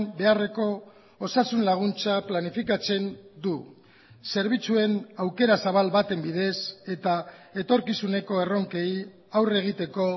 beharreko osasun laguntza planifikatzen du zerbitzuen aukera zabal baten bidez eta etorkizuneko erronkei aurre egiteko